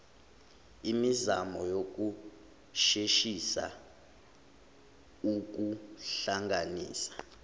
imizamo yokusheshisa ukuhlanganisa